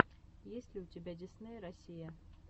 есть ли у тебя дисней россия